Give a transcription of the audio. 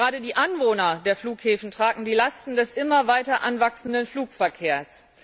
Gerade die Anwohner der Flughäfen tragen die Lasten des immer weiter anwachsenden Flugverkehrs.